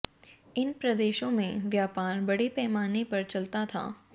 इन प्रदेशों में व्यापार बड़े पैमाने पर चलता था